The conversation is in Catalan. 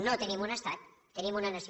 no tenim un estat tenim una nació